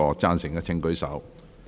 贊成的請舉手。